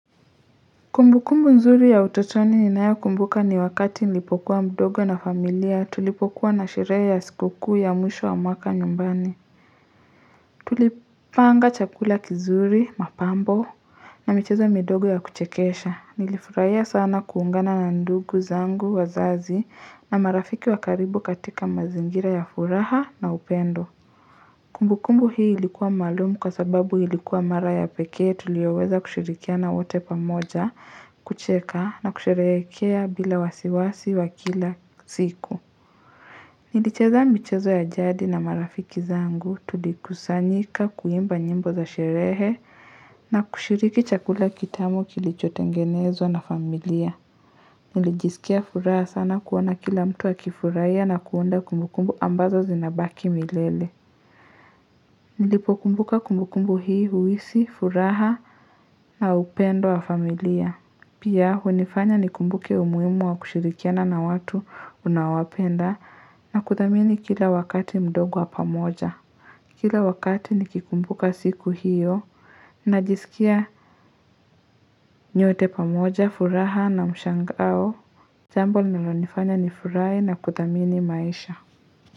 Kumbu kumbu nzuri ya utotoni ninayo kumbuka ni wakati nilipokuwa mdogo na familia tulipokuwa na shirehe ya siku kuu ya mwisho wa mwaka nyumbani Tulipanga chakula kizuri mapambo na michezo midogo ya kuchekesha nilifurahia sana kuungana na ndugu zangu wazazi na marafiki wa karibu katika mazingira ya furaha na upendo Kumbu kumbu hii ilikuwa maalum kwa sababu ilikuwa mara ya pekee tulioweza kushirikiana wote pamoja, kucheka na kusherehekea bila wasiwasi wa kila siku. Nilicheza michezo ya jadi na marafiki zangu tulikusanyika kuimba nyimbo za sherehe na kushiriki chakula kitamu kilicho tengenezwa na familia. Nilijisikia furaha sana kuona kila mtu akifuraia na kuondoa kumbu kumbu ambazo zinabaki milele. Nilipo kumbuka kumbu kumbu hii uhisi, furaha na upendo wa familia. Pia hunifanya ni kumbuke umuhimu wa kushirikiana na watu unaowapenda na kuthamini kila wakati mdogo wa pamoja. Kila wakati nikikumbuka siku hiyo, najisikia nyote pamoja, furaha na mshangao. Jambo linalonifanya ni furahi na kuthamini maisha.